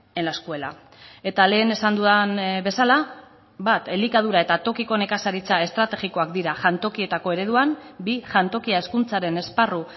en la escuela eta lehen esan dudan bezala bat elikadura eta tokiko nekazaritza estrategikoak dira jantokietako ereduan bi jantokia hezkuntzaren esparru